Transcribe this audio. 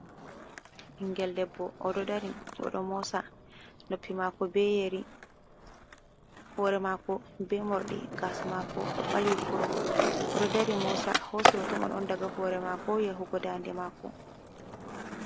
Ɓinngel dabbo oɗo dari oɗo mosa, noppi mako be yeri, hore mako be moruɗi, gasa mako ɗo ɓalwi kurum, oɗo mosa, o hosi hoto mai on daga hore mako ya hugo dande mako.